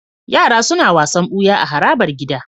Yara suna wasan buya a harabar gida